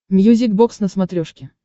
мьюзик бокс на смотрешке